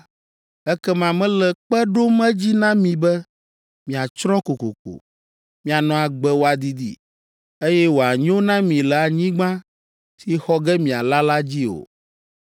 ekema mele kpe ɖom edzi na mi be miatsrɔ̃ kokoko. Mianɔ agbe wòadidi, eye wòanyo na mi le anyigba si xɔ ge miala la dzi o.